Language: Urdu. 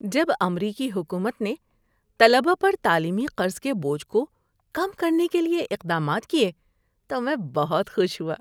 جب امریکی حکومت نے طلبہ پر تعلیمی قرض کے بوجھ کو کم کرنے کے لیے اقدامات کیے تو میں بہت خوش ہوا۔